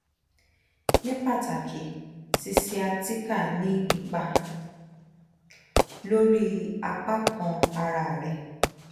ni pataki sciatica ni ipa lori apa kan ara re